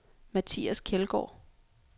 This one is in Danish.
Mathias Kjeldgaard